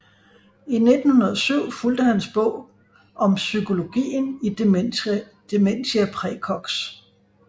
I 1907 fulgte hans bog Om psykologien i Dementia praecox